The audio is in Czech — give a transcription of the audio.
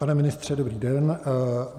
Pane ministře, dobrý den.